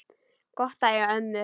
Gott að eiga ömmur!